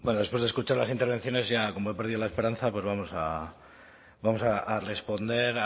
bueno después de escuchar las intervenciones como he perdido la esperanza pues vamos a vamos a responder